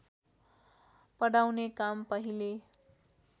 पढाउने काम पहिले